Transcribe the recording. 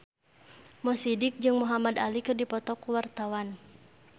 Mo Sidik jeung Muhamad Ali keur dipoto ku wartawan